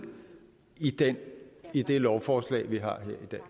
i det i det lovforslag vi har